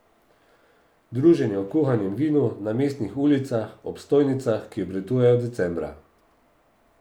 Druženje ob kuhanem vinu, na mestnih ulicah, ob stojnicah, ki obratujejo decembra.